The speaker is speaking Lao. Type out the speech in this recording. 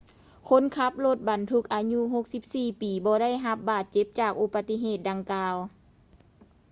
ຄົນຂັບລົດບັນທຸກອາຍຸ 64 ປີບໍ່ໄດ້ຮັບບາດເຈັບຈາກອຸປະຕິເຫດດັ່ງກ່າວ